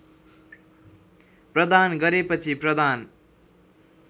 प्रदान गरेपछि प्रदान